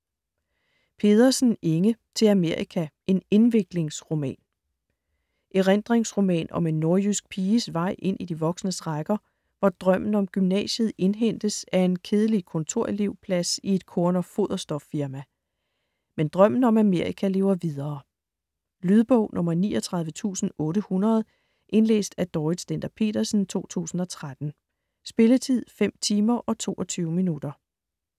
Pedersen, Inge: Til Amerika: en indviklingsroman Erindringsroman om en nordjysk piges vej ind i de voksnes rækker, hvor drømmen om gymnasiet indhentes af en kedelig kontorelevplads i et korn- og foderstofsfirma. Men drømmen om Amerika lever videre. Lydbog 39800 Indlæst af Dorrit Stender-Petersen, 2013. Spilletid: 5 timer, 22 minutter.